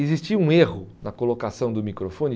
Existia um erro na colocação do microfone.